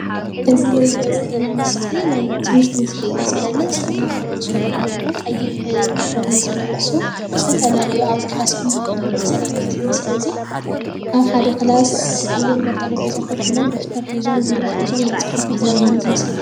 እዚ እንርእዮ ዘለና ምስሊ ናይ ትምህርቲ ምስሊ እዩ ዝገልጽ፤ ተማሃሮ ዝንሄዉ ቀይሕ ዩኒፎርም ዝለበሱ ዝተፍፈላለዩ ኣብ ክላስ ክምሃሩ ከልዉ እዩ ዘርእየና እዚ ምስሊ እዚ፤ ኣብ ሓደ ክላስ ኣብ ወንበር ጠረጴዛ ኮፍ ኢሎም ደፍተር ሒዞም ቢሮ ሒዞም እና ጻሓፉ እዩ ዘርእየና እዚ ምስሊ።